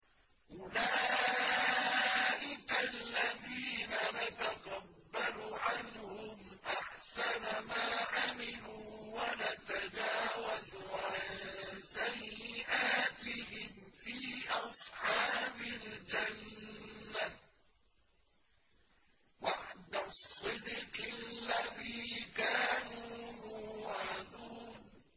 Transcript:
أُولَٰئِكَ الَّذِينَ نَتَقَبَّلُ عَنْهُمْ أَحْسَنَ مَا عَمِلُوا وَنَتَجَاوَزُ عَن سَيِّئَاتِهِمْ فِي أَصْحَابِ الْجَنَّةِ ۖ وَعْدَ الصِّدْقِ الَّذِي كَانُوا يُوعَدُونَ